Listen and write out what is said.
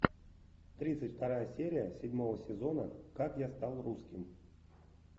тридцать вторая серия седьмого сезона как я стал русским